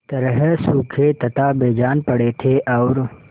तरह सूखे तथा बेजान पड़े थे और